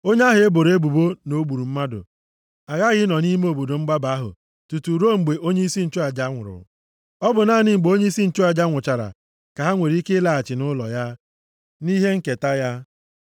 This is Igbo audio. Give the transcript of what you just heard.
Onye ahụ e boro ebubo na o gburu mmadụ aghaghị ịnọ nʼime obodo mgbaba ahụ tutu ruo mgbe onyeisi nchụaja nwụrụ. Ọ bụ naanị mgbe onyeisi nchụaja nwụchara, ka ha nwere ike ịlaghachi nʼụlọ ya, nʼihe nketa ya.